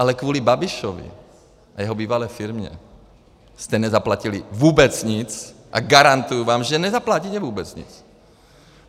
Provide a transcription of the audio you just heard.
Ale kvůli Babišovi a jeho bývalé firmě jste nezaplatili vůbec nic a garantuji vám, že nezaplatíte vůbec nic.